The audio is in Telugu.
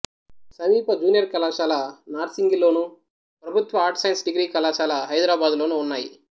సమీప జూనియర్ కళాశాల నార్సింగిలోను ప్రభుత్వ ఆర్ట్స్ సైన్స్ డిగ్రీ కళాశాల హైదరాబాదులోనూ ఉన్నాయి